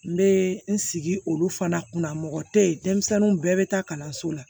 N bɛ n sigi olu fana kunna mɔgɔ tɛ ye denmisɛnninw bɛɛ bɛ taa kalanso la